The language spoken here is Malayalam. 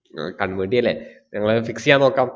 അഹ് convert ഇയ്യല്ലേ, ഞങ്ങള് fix ഇയ്യാൻ നോക്കാം.